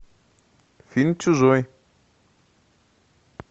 фильм чужой